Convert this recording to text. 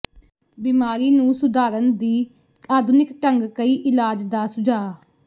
ਬਿਮਾਰੀ ਨੂੰ ਸੁਧਾਰਨ ਦੀ ਆਧੁਨਿਕ ਢੰਗ ਕਈ ਇਲਾਜ ਦਾ ਸੁਝਾਅ